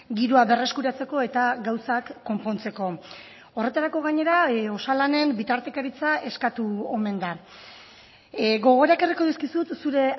giroa berreskuratzeko eta gauzak konpontzeko horretarako gainera osalanen bitartekaritza eskatu omen da gogora ekarriko dizkizut zure